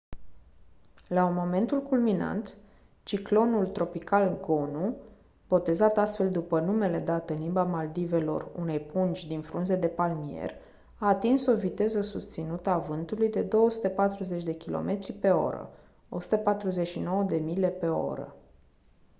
la momentul culminant ciclonul tropical gonu botezat astfel după numele dat în limba maldivelor unei pungi din frunze de palmier a atins o viteză susținută a vântului de 240 de kilometri pe oră 149 de mile pe oră